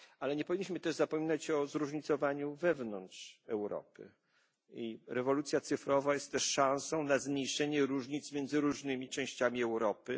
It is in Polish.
Nie powinniśmy jednak zapominać o zróżnicowaniu wewnątrz Europy. I rewolucja cyfrowa jest też szansą na zmniejszenie różnic między poszczególnymi częściami Europy.